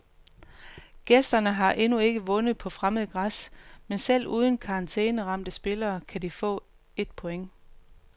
Gæsterne har endnu ikke vundet på fremmed græs, men selv uden karantæneramte spillere kan de få et point.